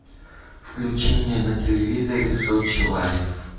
включи мне на телевизоре сочи лайв